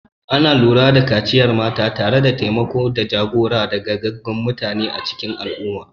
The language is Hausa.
Ana lura da kaciyar mata tare da taimako da jagora daga gogaggun mata a cikin al'umma.